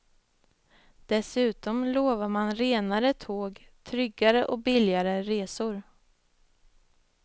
Dessutom lovar man renare tåg, tryggare och billigare resor.